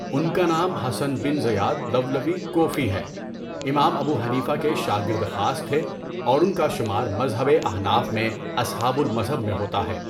ان کا نام Hasan bin Ziyad Lului Kufi ہے، امام ابو حنیفہ کے شاگرد خاص تھے اوران کا شمار مذہبِ احناف میں اصحابُ المذہب میں ہوتا ہے۔